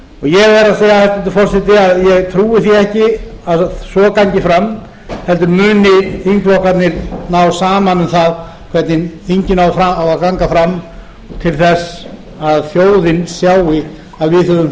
ég verð að segja hæstvirtur forseti að ég trúi því ekki að svo gangi fram heldur muni þingflokkarnir ná saman um það hvernig þingið á að ganga fram til þess að þjóðin sjái að við höfum